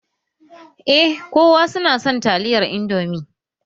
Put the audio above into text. Eh kowa su na son taliyar indomi